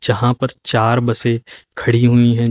यहां पर चार बसें खड़ी हुई हैं।